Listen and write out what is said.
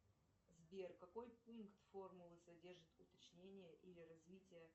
сбер какой пункт формулы содержит уточнение или развитие